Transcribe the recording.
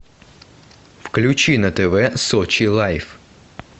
включи на тв сочи лайф